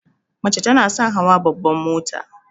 Mace tana son hawa babban mota.